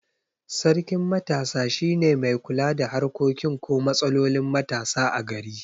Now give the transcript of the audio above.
Sarkin matasa shine mai kula da harkokin ko matsalolin matasa a gari